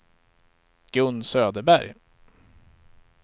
Gun Söderberg